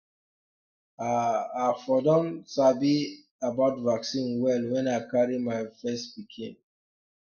ah i for don um sabi about vaccine well when i carry my first pikin um